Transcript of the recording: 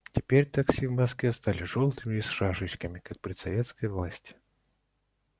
теперь такси в москве стали жёлтыми и с шашечками как при советской власти